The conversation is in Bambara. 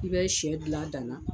I bɛ shɛ dilan a dana.